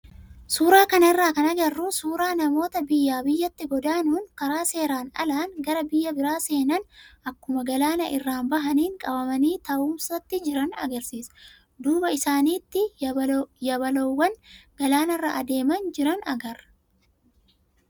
Suuraa kanarraa kan agarru suuraa namoota biyyaa biyyatti godaanuun karaa seeraan alaa gara biyya biraa seenan akkuma galaana irraa bahaniin qabamanii taa'umsatti jiran agarsiisa. Duuba isaaniitti yabaloowwan galaanarra adeemaa jiran agarra.